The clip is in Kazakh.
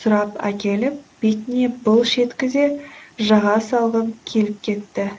сұрап әкеліп бетіне былш еткізе жаға салғым келіп кетті